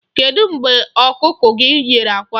Kedụ mgbe ọkụkọ gị nyere àkwá?